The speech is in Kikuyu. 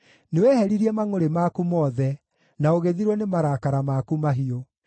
Nĩweheririe mangʼũrĩ maku mothe, na ũgĩthirwo nĩ marakara maku mahiũ.